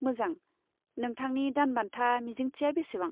मोजां, नोंथांनि दानबान्था मिजिंथिया बेसेबां?